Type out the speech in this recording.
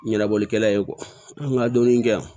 Ɲɛnabɔlikɛla ye nka dumuni kɛ yan